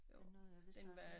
Den nåede jeg vist nok ikke